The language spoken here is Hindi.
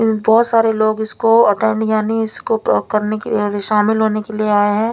बहोत सारे लोग इसको अटेंड यानी इसको प्रॉ करने के लिए अरे शामील होने के लिए आये हैं।